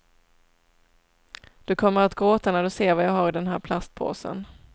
Du kommer att gråta när du ser vad jag har i den här plastpåsen.